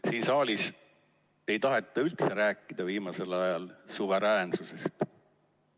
Siin saalis ei taheta viimasel ajal üldse rääkida suveräänsusest.